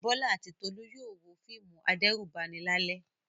Bọ́lá àti Tolú yóò wo fíìmù adẹ́rùbani lálẹ́.